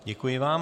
Děkuji vám.